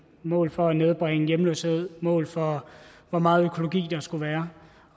mål for at nedbringe hjemløshed mål for hvor meget økologi der skulle være